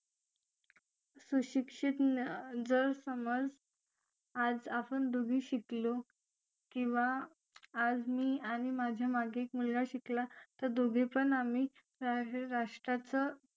सुशिक्षित जर समाज आज आपण दोघे शिकलो किंवा आज मी आणि माझ्या मागे मुलगा शिकला तर दोघे पण आम्ही राष्ट्राचं